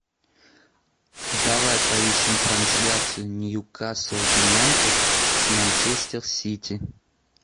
давай поищем трансляцию ньюкасл юнайтед с манчестер сити